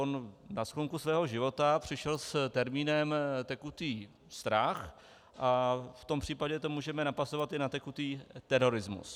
On na sklonku svého života přišel s termínem tekutý strach a v tom případě to můžeme napasovat i na tekutý terorismus.